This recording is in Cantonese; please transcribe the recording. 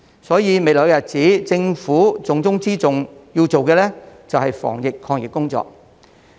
所以，未來日子政府重中之重要做的，就是防疫抗疫工作。